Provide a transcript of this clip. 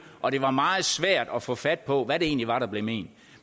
og det var meget svært at få fat på hvad det egentlig var der blev ment